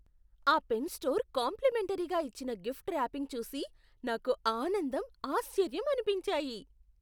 ఆ pen store కాంప్లిమెంటరీగా ఇచ్చిన గిఫ్ట్ ర్యాపింగ్ చూసి నాకు ఆనందం, ఆశ్చర్యం అనిపించాయి.